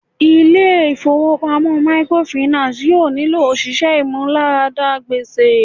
Ilé ifowopamọ microfinance yóò nílò òṣìṣẹ́ ìmúláradá gbèsè.